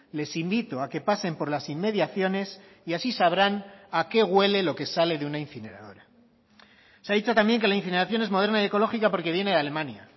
les invito a que pasen por las inmediaciones y así sabrán a qué huele lo que sale de una incineradora se ha dicho también que la incineración es moderna y ecológica porque viene de alemania